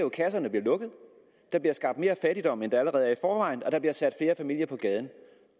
at kasserne bliver lukket der bliver skabt mere fattigdom end der allerede er i forvejen og der bliver sat flere familier på gaden